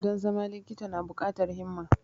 Don zama likita na bukatar himma.